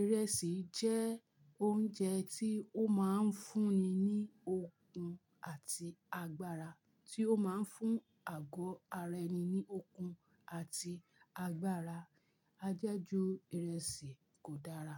Ìrẹsì jẹ́ oúnjẹ tí ó máa ń fún ni ní okun àti agbára, tí ó máa ń fún àgọ́ ara ẹni ní okun àti agbára. A je ju ìrẹsì kò dára.